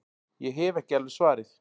Ég hef ekki alveg svarið.